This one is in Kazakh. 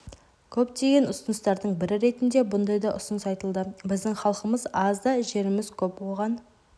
көптеген ұсыныстардың бірі ретінде бұндай да ұсыныс айтылды біздің халқымыз аз да жеріміз көп оған